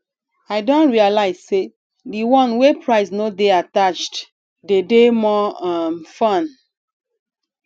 i don realize say di one wey price no de attached dey de more um fun